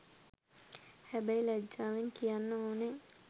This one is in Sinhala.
හැබැයි ලජ්ජාවෙන් කියන්න ඕනේ